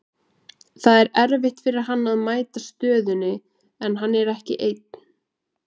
Það er erfitt fyrir hann að mæta stöðunni, en hann er ekki einn.